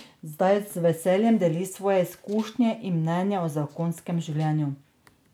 Zdaj z veseljem deli svoje izkušnje in mnenje o zakonskem življenju.